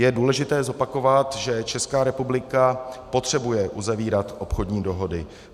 Je důležité zopakovat, že Česká republika potřebuje uzavírat obchodní dohody.